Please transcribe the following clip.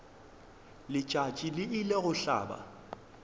letšatši le ile go hlaba